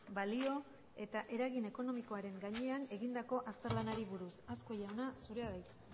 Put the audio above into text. balio eta eragin ekonomikoaren gainean egindako azterlanari buruz azkue jauna zurea da hitza